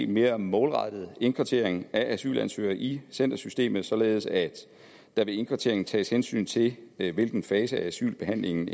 mere målrettet indkvartering af asylansøgere i centersystemet således at der ved indkvarteringen tages hensyn til hvilken fase af asylbehandlingen